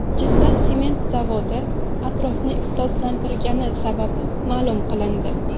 Jizzax sement zavodi atrofni ifloslantirgani sababi ma’lum qilindi.